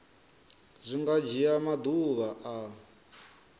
zwi nga dzhia maḓuvha a